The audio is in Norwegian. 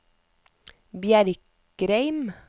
Bjerkreim